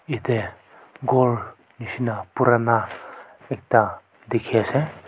yate ghor nishina ekta purana dekhi ase.